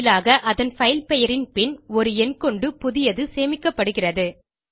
பதிலாக அதன் பைல் பெயரின் பின் ஒரு எண் கொண்டு புதியது சேமிக்கப்படுகிறது